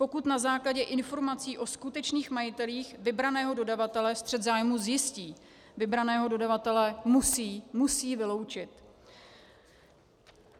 Pokud na základě informací o skutečných majitelích vybraného dodavatele střet zájmu zjistí, vybraného dodavatele musí - musí vyloučit.